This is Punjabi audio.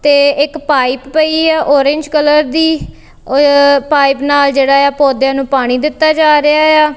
ਤੇ ਇੱਕ ਪਾਇਪ ਪਈ ਆ ਔਰੇਂਜ ਕਲਰ ਦੀ ਅ ਪਾਈਪ ਨਾਲ ਜਿਹੜਾ ਏ ਆ ਪੌਧਿਆਂ ਨੂੰ ਪਾਣੀ ਦਿੱਤਾ ਜਾ ਰਿਹਾ ਇਆ।